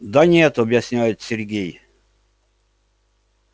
да нет объясняет сергей